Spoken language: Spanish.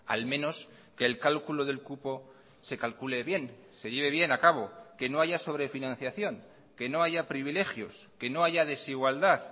al menos que el cálculo del cupo se calcule bien se lleve bien a cabo que no haya sobre financiación que no haya privilegios que no haya desigualdad